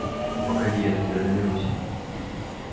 погоди я до тебя доберусь